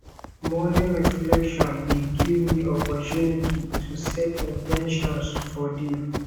morning reflection dey give me opportunity to set in ten tions for day